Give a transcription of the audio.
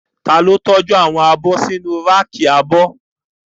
Ta ló tọ́jú àwọn abọ́ sínu ráàkì abọ́?